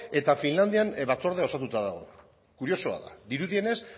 eta finlandian batzordea osatuta dago kuriosoa da dirudienez